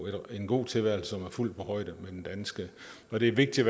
en god tilværelse som er fuldt på højde med den danske og det er vigtigt